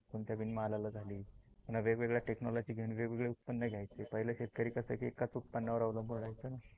कोणत्या बिनमालाला झाली, पुन्हा वेगवेगळ्या टेक्नोलोजी घेऊन वेगवेगळी उत्पन घ्यायची. पहिले शेतकरी कस एकाच उत्पन्न वर अवलंबून राहायचं ना